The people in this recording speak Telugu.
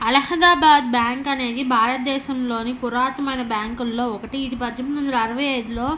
అల్లహాదాబాద్ బ్యాంకు అనేది భారత దేశం లోని పురాతనమైన బ్యాంకు ల్లో ఒకటి. ఇది పజ్జేనిమిది వందల అరవై ఐదు లో--